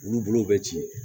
Wulu bolo bɛ ci